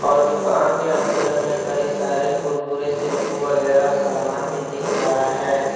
और दुकान के अंदर में कई सारे कुरकुरे शैंपू वगैरा समान भी दिख रहा है।